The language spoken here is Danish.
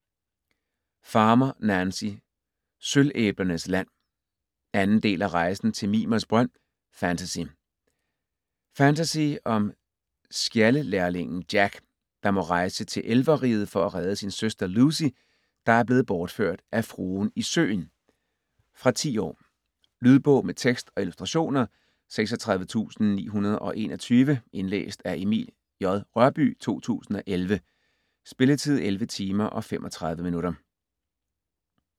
Farmer, Nancy: Sølvæblernes land 2. del af Rejsen til Mimers brønd. Fantasy. Fantasy om skjaldelærlingen Jack, der må rejse til elverriget for at redde sin søster Lucy, der er blevet bortført af Fruen i Søen. Fra 10 år. Lydbog med tekst og illustrationer 36921 Indlæst af Emil J. Rørbye, 2011. Spilletid: 11 timer, 35 minutter.